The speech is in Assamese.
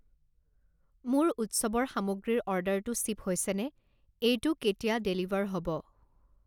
মোৰ উৎসৱৰ সামগ্ৰীৰ অৰ্ডাৰটো শ্বিপ হৈছেনে? এইটো কেতিয়া ডেলিভাৰ হ'ব?